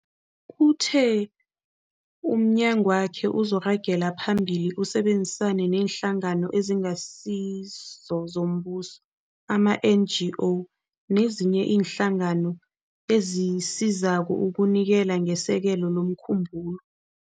Uthe umnyagwakhe uzoragela phambili usebenzisane neeNhlangano eziNgasizo zoMbuso, ama-NGO, nezinye iinhlangano ezisizako ukunikela ngesekelo lomkhumbulo.